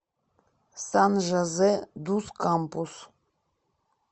сан жозе дус кампус